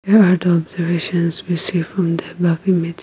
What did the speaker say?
here are the observations we see from the above image--